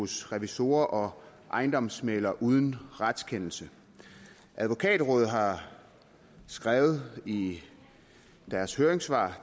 hos revisorer og ejendomsmæglere uden retskendelse advokatrådet har skrevet i deres høringssvar